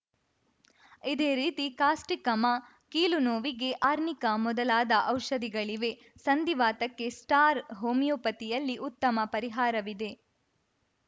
ಇದೇ ರೀತಿ ಕಾಸ್ಟಿಕಮ ಕೀಲುನೋವಿಗೆ ಆರ್ನಿಕಾ ಮೊದಲಾದ ಔಷಧಗಳಿವೆ ಸಂಧಿವಾತಕ್ಕೆ ಸ್ಟಾರ್‌ ಹೋಮಿಯೋಪತಿಯಲ್ಲಿ ಉತ್ತಮ ಪರಿಹಾರವಿದೆ